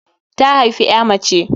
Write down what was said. Ta haifi ƴa mace.